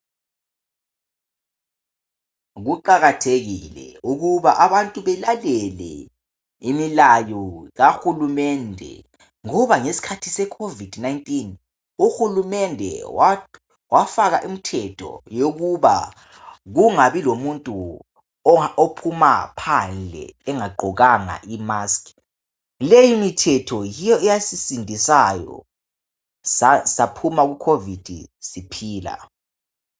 Kuqakathekile ukuthi abantu belalele imilayo kahulumende ngoba ngesikhathi se COVID 19 . Uhulumende wafaka imithetho yokuba kungabi lomuntu ophuma phandle engagqokanga i mask .Leyi mithetho yiyo eyasisindisayo saphuma ku COVID siphila.